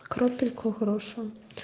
крапельку хорошую